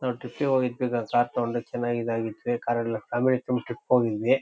ನಾವ್ ಟ್ರಿಪ್ಗೆ ಹೋಗಿದ್ವಿ ಸರ್ ಕಾರ್ ತಗೊಂಡು ಚನಗಿಧಗಿದ್ವಿ ಕಾರೆಲ್ಲ ಫ್ಯಾಮಿಲಿ ಫುಲ್ ಟ್ರಿಪ್ ಹೋಗಿದ್ವಿ --